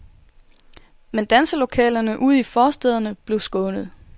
Men danselokalerne ude i forstæderne blev skånet.